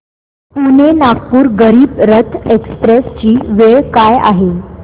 Pune Nagpur Garib Rath express ची वेळ काय आहे